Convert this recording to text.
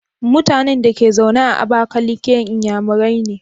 Mutanan Dake zaune a abakaliki inyamurai ne?